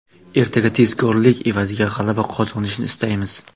Ertaga tezkorlik evaziga g‘alaba qozonishni istaymiz.